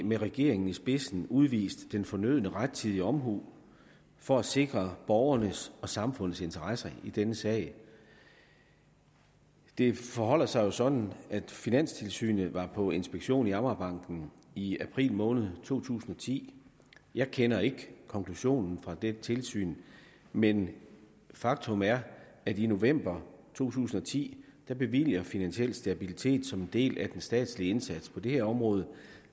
med regeringen i spidsen udvist den fornødne rettidige omhu for at sikre borgernes og samfundets interesser i denne sag det forholder sig sådan at finanstilsynet var på inspektion i amagerbanken i april måned to tusind og ti jeg kender ikke konklusionen fra dette tilsyn men faktum er at i november to tusind og ti bevilger finansiel stabilitet som en del af den statslige indsats på det her område